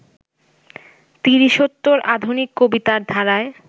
তিরিশোত্তর আধুনিক কবিতার ধারায়